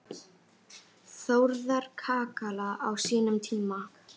Þórðar kakala á sínum tíma.